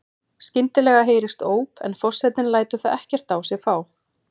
Skyndilega heyrist óp en forsetinn lætur það ekkert á sig fá.